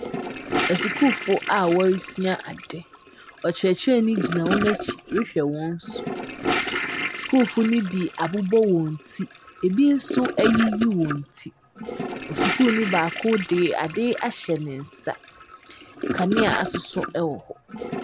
Asukuufo a wɔresua ade. Ɔkyerɛkyerɛni gyina wɔn akyi rehwɛ wɔn so. Sukuufo no bi abobɔ wɔn ti, bi nso ayiyi wɔn ti. Osukuuni baako de ade ahyɛ ne nsa. Kanea asosɔ wɔ hɔ.